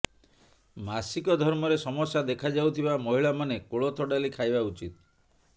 ମାସିକ ଧର୍ମରେ ସମସ୍ୟା ଦେଖାଯାଉଥିବା ମହିଳାମାନେ କୋଳଥ ଡାଲି ଖାଇବା ଉଚିତ